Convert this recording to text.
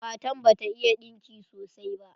Matan bata iya ɗinki sosai ba.